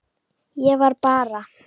Ég var bara.